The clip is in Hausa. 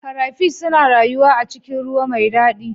Crayfish suna rayuwa a cikin ruwa mai dadi